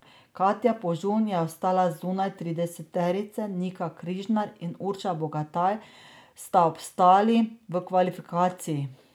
Katja Požun je ostala zunaj trideseterice, Nika Križnar in Urša Bogataj sta obstali v kvalifikacijah.